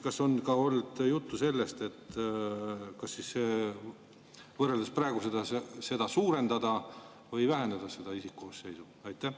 Kas on ka olnud juttu sellest, kas võrreldes praegusega suurendada või vähendada seda isikkoosseisu?